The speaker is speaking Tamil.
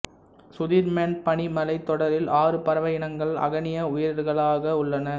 சுதிர்மேன் பனிமலைத் தொடரில் ஆறு பறவை இனங்கள் அகணிய உயிரிகளாக உள்ளன